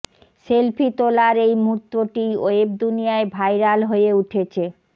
selfie তোলার এই মুহুর্তটিই ওয়েব দুনিয়ায় ভাইরাল হয়ে উঠেছে